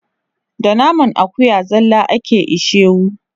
Da naman akuya zalla ake ishewu.